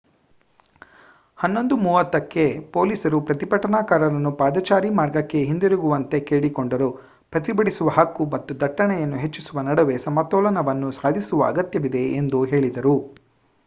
11 20 ಕ್ಕೆ ಪೊಲೀಸರು ಪ್ರತಿಭಟನಾಕಾರರನ್ನು ಪಾದಚಾರಿ ಮಾರ್ಗಕ್ಕೆ ಹಿಂತಿರುಗುವಂತೆ ಕೇಳಿಕೊಂಡರು ಪ್ರತಿಭಟಿಸುವ ಹಕ್ಕು ಮತ್ತು ದಟ್ಟಣೆಯನ್ನು ಹೆಚ್ಚಿಸುವ ನಡುವೆ ಸಮತೋಲನವನ್ನು ಸಾಧಿಸುವ ಅಗತ್ಯವಿದೆ ಎಂದು ಹೇಳಿದರು